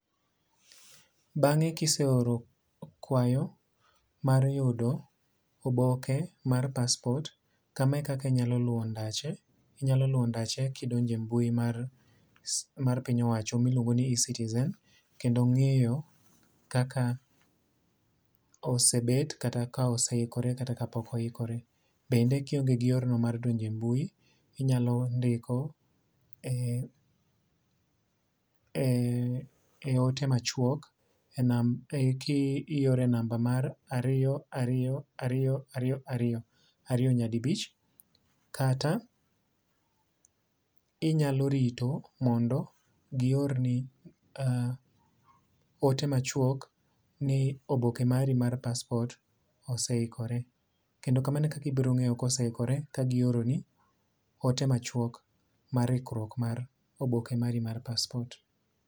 Bang'e kise oro kwayo mar yudo oboke mar paspot kama e kaka inyalo luwo ndache. Inyalo luwo ndache kidonje mbui mar piny owacho miluongo ni e-citizen kendo ng'iyo kaka osebed kata ka ose ikore kata ka pok oikore. Bende kionge gi yor no mar donjo e mbui inyalo ndiko e ote machuok ki oro e namba mar ariyo ariyo ariyo ariyo ariyo. Ariyo nyadibich. Kata inyalo rito mondo gi or ni ote machwok ni oboke mari mar paspot ose ikore. Kendo kamano e kaka ibiro ng'eyo kose ikore ka gi oro ni ote machuok mar ikruok mar oboke mari mar paspot.